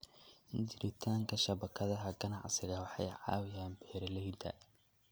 Jiritaanka shabakadaha ganacsiga waxay caawiyaan beeralayda.